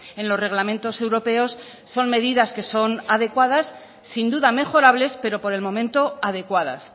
en los reglamentos europeos son medidas que son adecuadas sin duda mejorables pero por el momento adecuadas